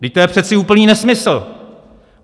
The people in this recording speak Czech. Vždyť to je přece úplný nesmysl!